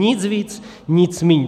Nic víc, nic míň.